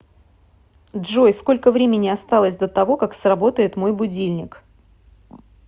джой сколько времени осталось до того как сработает мой будильник